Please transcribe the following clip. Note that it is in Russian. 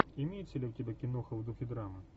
имеется ли у тебя киноха в духе драмы